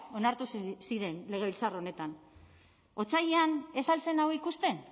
onartu ziren legebiltzar honetan otsailean ez al zen hau ikusten